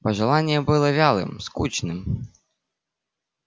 пожелание было вялым скучным